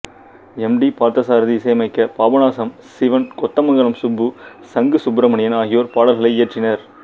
M D Parthasarathy இசையமைக்க பாபநாசம் சிவன் கொத்தமங்கலம் சுப்பு சங்கு சுப்பிரமணியன் ஆகியோர் பாடல்களை இயற்றினர்